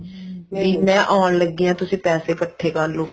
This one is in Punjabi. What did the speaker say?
ਵੀ ਮੈਂ ਆਉਣ ਲੱਗੀ ਹਾਂ ਤੁਸੀਂ ਪੈਸੇ ਇੱਕਠੇ ਕਰਲੋ